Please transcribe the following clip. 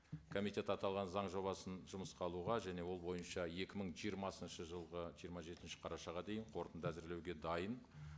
комитет аталған заң жобасын жұмысқа алуға және ол бойынша екі мың жиырмасыншы жылғы жиырма жетінші қарашаға дейін қорытынды әзірлеуге дайын